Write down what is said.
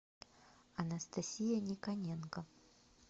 анастасия никоненко